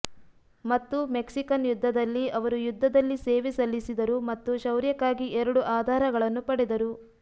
ಮತ್ತು ಮೆಕ್ಸಿಕನ್ ಯುದ್ಧದಲ್ಲಿ ಅವರು ಯುದ್ಧದಲ್ಲಿ ಸೇವೆ ಸಲ್ಲಿಸಿದರು ಮತ್ತು ಶೌರ್ಯಕ್ಕಾಗಿ ಎರಡು ಆಧಾರಗಳನ್ನು ಪಡೆದರು